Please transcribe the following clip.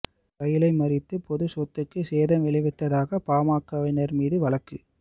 ரயிலை மறித்து பொது சொத்துக்கு சேதம் விளைவித்ததாக பாமகவினர் மீது வழக்கு